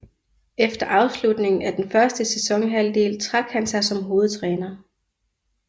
Efter afslutningen af den første sæsonhalvdel trak han sig som hovedtræner